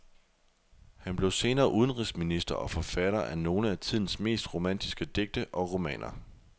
Han blev senere udenrigsminister og forfatter af nogle af tidens mest romantiske digte og romaner.